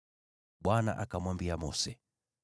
Bwana akamwambia Mose,